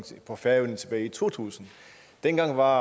på færøerne tilbage i to tusind dengang var